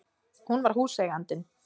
Hún var húseigandinn!